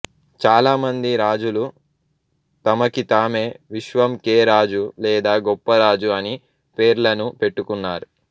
చాలా మంది రాజులు తమకితామే విశ్వంకే రాజు లేదా గొప్ప రాజు అని పేర్లను పెట్టుకున్నారు